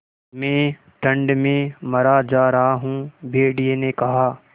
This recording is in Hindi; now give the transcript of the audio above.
मैं ठंड में मरा जा रहा हूँ भेड़िये ने कहा